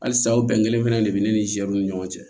Halisa aw bɛn kelen fana de be ne ni nzɛriw ni ɲɔgɔn cɛ